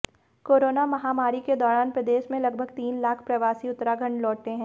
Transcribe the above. corona महामारी के दौरान प्रदेश में लगभग तीन लाख प्रवासी उत्तराखंड लौटे हैं